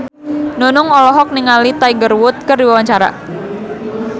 Nunung olohok ningali Tiger Wood keur diwawancara